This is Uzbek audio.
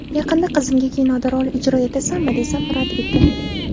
Yaqinda qizimga kinoda rol ijro etasanmi, desam, rad etdi.